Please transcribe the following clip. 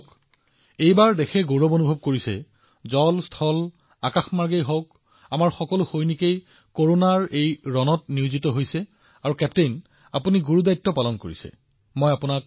আমাৰ দেশবাসীয়ে এইটো কথাত গৌৰৱ কৰে যে জলেই হওক নভেই হওক আমাৰ সকলো জোৱানে কৰোনাৰ বিৰুদ্ধে অৱতীৰ্ণ হৈছে আৰু কেপ্টেইন আপুনি আপোনাৰ দায়িত্ব সুন্দৰ ধৰণে পালন কৰিছে